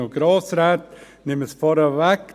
Ich nehme es vorweg: